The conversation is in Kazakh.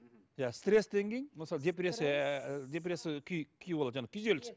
иә стресстен кейін мысалы депрессия ыыы депрессия күй күй болады жаңағы күйзеліс